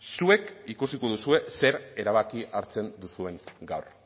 zuek ikusiko duzue zer erabaki hartzen duzuen gaur